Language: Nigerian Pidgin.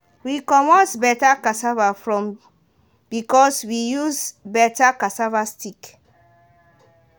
we comot better cassava from because we use better cassava stick.